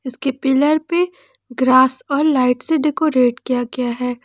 इसके पिलर पे ग्रास और लाइट से डेकोरेट किया गया है।